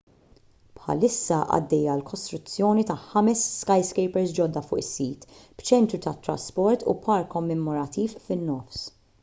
bħalissa għaddejja l-kostruzzjoni ta' ħames skyscrapers ġodda fuq is-sit b'ċentru tat-trasport u park kommemorattiv fin-nofs